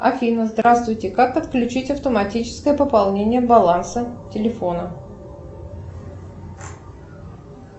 афина здравствуйте как подключить автоматическое пополнение баланса телефона